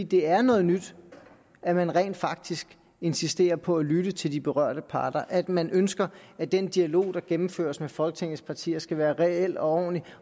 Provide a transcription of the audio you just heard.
det er noget nyt at man rent faktisk insisterer på at lytte til de berørte parter at man ønsker at den dialog der gennemføres med folketingets partier skal være reel og ordentlig